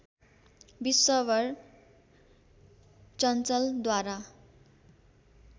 विश्वम्भर चञ्चलद्वारा